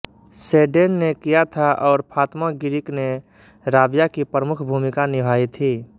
sedan ने किया था और फ़ात्मा गिरिक ने राबिया की प्रमुख भूमिका निभाई थी